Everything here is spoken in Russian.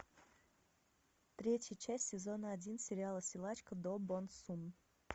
третья часть сезона один сериала силачка до бон сун